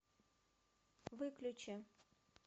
выключи